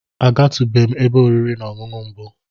A ga tu bem ebe oriri na Ọṅụṅụ mbu.